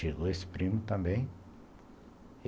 Chegou esse primo também.